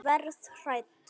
Verð hrædd.